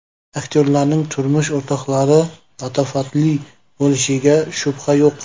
Aktyorlarning turmush o‘rtoqlari latofatli bo‘lishiga shubha yo‘q.